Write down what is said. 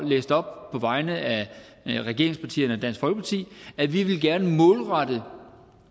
læste op på vegne af regeringspartierne og dansk folkeparti at vi gerne vil målrette